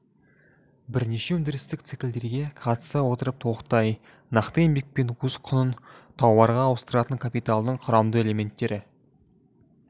бірнеше өндірістік циклдерге қатыса отырып толықтай нақты еңбекпен өз құнын тауарға ауыстыратын капиталдың құрамды элеметтері